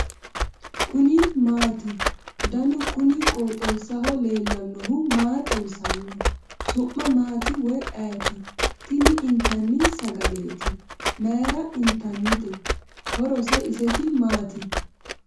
kuni maati ? danu kuni qooxeessaho leellannohu maa xawisanno su'mu maati woy ayeti ? tini itanni sagaleeti . mayra intannite ? horose iseti maati ?